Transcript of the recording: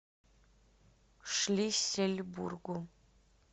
шлиссельбургу